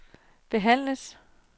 behandles